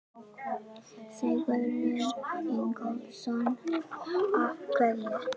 Sigurður Ingólfsson: Af hverju?